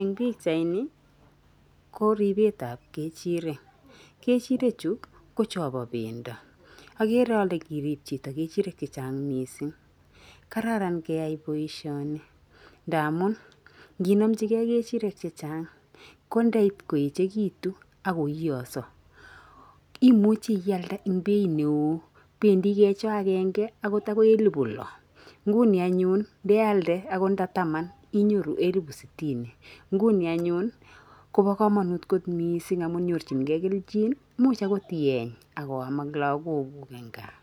Eng' pichaini ko ripetap kechirek. Kechirechu ko chopo pendo. Akere ale kirip chito kechirek chechang mising. Kararan keyai boishoni ndamun, nginomchikei kechirek chechang ko ndaipkoechekitu akoiyoso imuchi ialde eng' bei neo. Bendi kecho akenge akot akoi elebu lo. Nguni anyun ndealde akot nda taman inyoru elebu sitini. nguni anyun kobo komanut kot mising amu nyorchinkei kelchin. Imuch akot ieny ak oam ak lagokuk eng kaa.